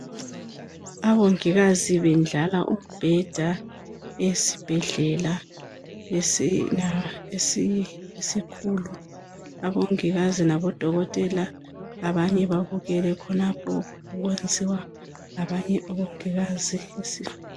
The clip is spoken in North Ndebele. Abongikazi bendlala umbheda esibhedlela esikhulu. Abongikazi labodokotela, abanye babukele khonapho, okwenziwa ngabanye omongikazi.